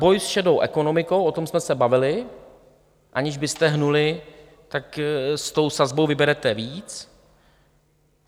Boj s šedou ekonomikou - o tom jsme se bavili, aniž byste hnuli, tak s tou sazbou vyberete víc.